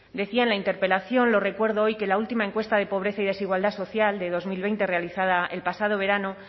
decía en la interpelación lo recuerdo hoy que la última encuesta de pobreza y desigualdad social de dos mil veinte realizada el pasado verano